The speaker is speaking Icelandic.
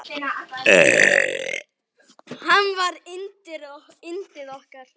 Hann var yndið okkar.